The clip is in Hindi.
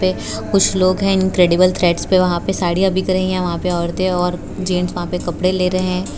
में कुछ लोग हैं इंक्रेडिबल थ्रेड्स पे वहां पे साड़ियां बिक रही हैं वहां पे औरतें और जेंट्स वहां पे कपड़े ले रहे हैं।